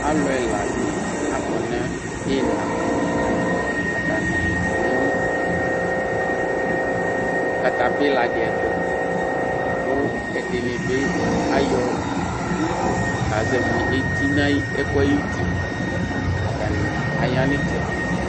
Alʋ ɛla dɩ akɔ nʋ iina, atanɩ kɔ nʋ katapila dɩ ɛtʋ kʋ ɛdɩnɩ bɩ ayɔ utu kazɛvɩ eti n'ɛkʋ yɛ ayuti Atanɩ aya n'ɩtsɛdɩ